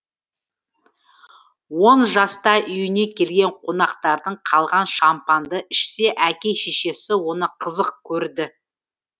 он жаста үйіне келген қонақтардан қалған шампанды ішсе әке шешесі оны қызық көрді